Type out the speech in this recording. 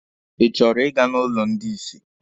Ị chọrọ Ị ga n'ụlọ ndị isi?